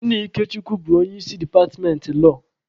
Nna Ikechukwu bụ onye isi departmentị lọọ.